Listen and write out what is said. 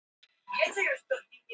Til hvers eru augnhár?